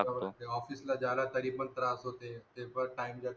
office ला जायला तरी पण त्रास होते. ते पण time ला